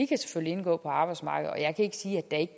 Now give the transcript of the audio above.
kan indgå på arbejdsmarkedet og jeg kan ikke sige at